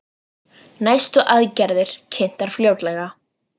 Næstu aðgerðir kynntar fljótlega